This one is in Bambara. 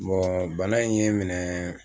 Bon bana in ye n minɛ.